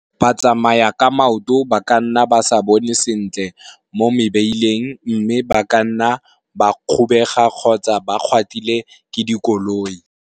Ba tsamaya ka maoto ba ka nna ba se bone sentle mo mebeleng mme ba ka nna ba kgobega kgotsa ba gatiwa ke dikoloi.